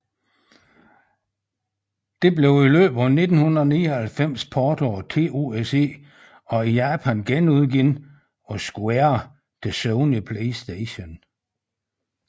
Det blev i løbet af 1999 portet af TOSE og i Japan genudgivet af Square til Sony PlayStation